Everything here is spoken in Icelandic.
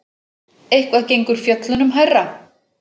Eitthvað gengur fjöllunum hærra